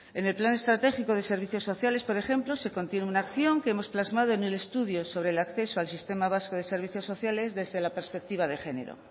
en el plan estratégico de servicios sociales por ejemplo se contiene una acción que hemos plasmado en el estudio sobre el acceso al sistema vasco de servicios sociales desde la perspectiva de género